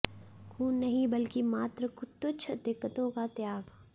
ख़ून नहीं बल्कि मात्र तुच्छ दिक़्क़तों का त्याग